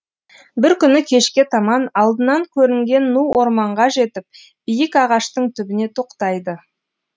бір күні кешке таман алдынан көрінген ну орманға жетіп биік ағаштың түбіне тоқтайды